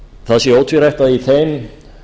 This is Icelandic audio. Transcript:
það sé ótvírætt að í þeim